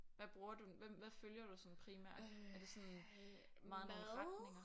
Hvad bruger du den hvem hvad følger du sådan primært er det sådan meget nogle retninger